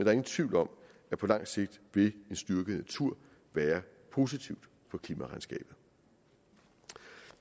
er ingen tvivl om at på lang sigt vil en styrket natur være positivt for klimaregnskabet